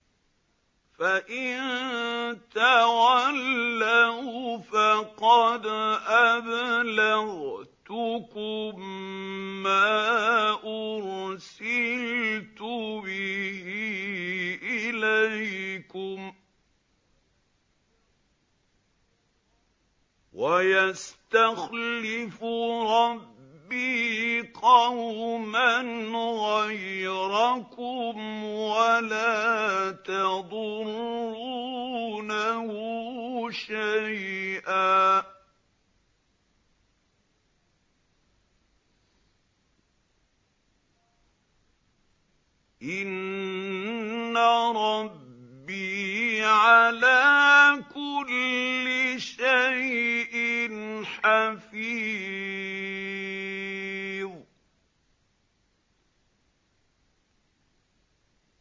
فَإِن تَوَلَّوْا فَقَدْ أَبْلَغْتُكُم مَّا أُرْسِلْتُ بِهِ إِلَيْكُمْ ۚ وَيَسْتَخْلِفُ رَبِّي قَوْمًا غَيْرَكُمْ وَلَا تَضُرُّونَهُ شَيْئًا ۚ إِنَّ رَبِّي عَلَىٰ كُلِّ شَيْءٍ حَفِيظٌ